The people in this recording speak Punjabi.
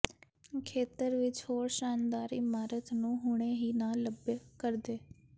ਖੇਤਰ ਵਿਚ ਹੋਰ ਸ਼ਾਨਦਾਰ ਇਮਾਰਤ ਨੂੰ ਹੁਣੇ ਹੀ ਨਾ ਲੱਭ ਕਰਦੇ